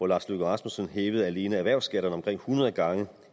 lars løkke rasmussen hævede alene erhvervsskatterne omkring hundrede gange